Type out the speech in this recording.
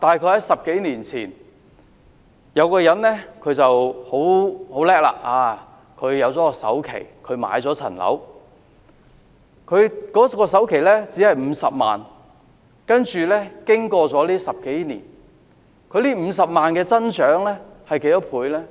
在10多年前，假設有一個人很厲害，儲夠首期買樓，他的首期只是50萬元，接着經過這10多年，這50萬元增長了多少倍呢？